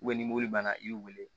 ni mɔbili banna i b'i weele